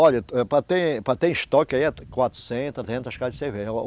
Olha, eh, para ter, para ter estoque aí é quatrocentas, trezentas caixas de cerveja